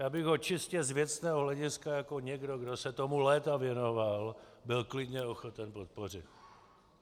Já bych ho čistě z věcného hlediska jako někdo, kdo se tomu léta věnoval, byl klidně ochoten podpořit.